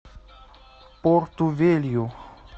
порту велью